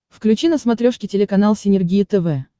включи на смотрешке телеканал синергия тв